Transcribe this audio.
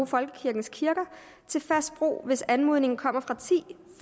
folkekirkens kirker til fast brug hvis anmodningen kommer fra ti